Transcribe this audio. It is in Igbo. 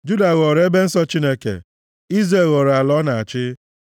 Juda ghọrọ ebe nsọ Chineke, Izrel ghọrọ ala ọ na-achị.